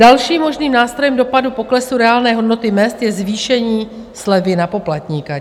Další možným nástrojem dopadu poklesu reálné hodnoty mezd je zvýšení slevy na poplatníka.